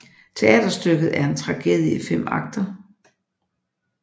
Teaterstykket er en tragedie i fem akter